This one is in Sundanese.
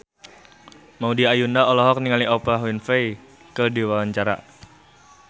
Maudy Ayunda olohok ningali Oprah Winfrey keur diwawancara